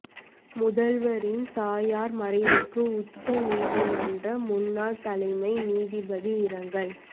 முதல்வரின் தாயாா் மறைவுக்கு உச்ச நீதிமன்ற முன்னாள் தலைமை நீதிபதி இரங்கல்